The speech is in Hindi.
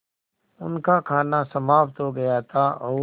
उनका खाना समाप्त हो गया था और